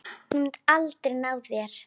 Þú munt aldrei ná þér.